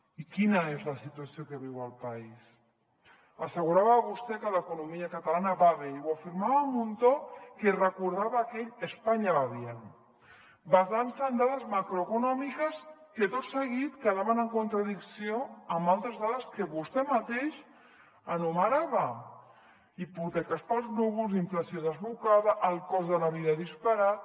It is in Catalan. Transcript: i quina és la situació que viu el país assegurava vostè que l’economia catalana va bé i ho afirmava amb un to que recordava aquell españa va bien basant se en dades macroeconòmiques que tot seguit quedaven en contradicció amb altres dades que vostè mateix enumerava hipoteques pels núvols inflació desbocada el cost de la vida disparat